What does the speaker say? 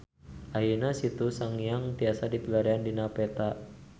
Ayeuna Situ Sangiang tiasa dipilarian dina peta